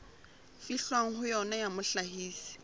fihlwang ho yona ya mohlahisi